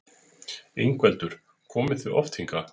Ingveldur: Komið þið oft hingað?